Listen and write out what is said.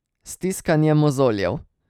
Stiskanje mozoljev.